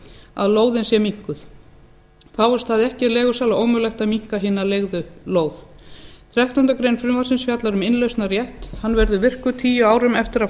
að lóðin sé minnkuð fáist það ekki er leigusala ómögulegt að minnka hina leigðu lóð þrettándu greinar frumvarpsins fjallar um innlausnarrétt hann verður virkur tíu árum eftir að